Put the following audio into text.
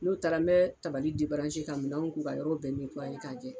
N'o taara n bɛ tabali debaranse ka minɛnw ko ka yɔrɔw bɛɛ netuwaye k'a jɛ